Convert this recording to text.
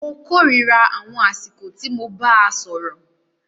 Mó kòrira àwọn àsìkò tí mo bàá sọ̀rọ̀.